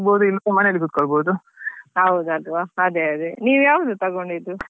ಹೌದೌದು ಅಲ್ವಾ ಅದೇ ಅದೇ ನೀವ್ ಯಾವ್ದು ತೆಕೊಂಡಿದ್ದು?